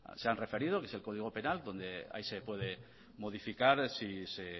se han referido que es el código penal donde ahí se puede modificar si se